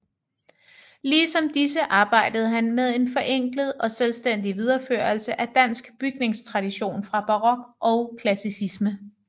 Ligesom disse arbejdede han med en forenklet og selvstændig videreførelse af dansk bygningstradition fra barok og klassicisme